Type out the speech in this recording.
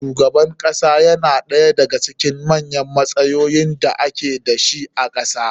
Shugaban kasa yana ɗaya da ga cikin manyan matsayoyin da ake dashi a kasa